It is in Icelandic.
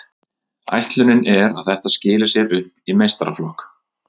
Ætlunin er að þetta skili sér upp í meistaraflokk.